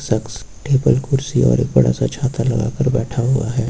शक्स table कुर्सी और एक बड़ा सा छाता लगाकर बैठा हुआ है।